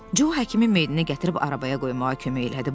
Co həkimi meyidini gətirib arabaya qoymağa kömək elədi.